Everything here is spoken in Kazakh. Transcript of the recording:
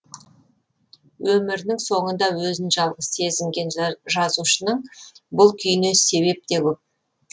өмірінің соңында өзін жалғыз сезінген жазушының бұл күйіне себеп те көп